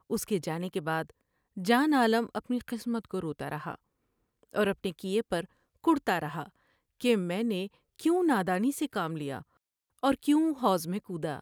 اس کے جانے کے بعد جان عالم اپنی قسمت کو روتا رہا اور اپنے کیے پر کڑھتا رہا کہ میں نے کیوں نادانی سے کام لیا اور کیوں حوض میں کودا ۔